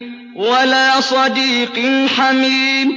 وَلَا صَدِيقٍ حَمِيمٍ